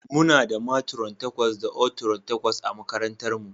Muna da matron takwas da oatrons takwas a makarantarmu.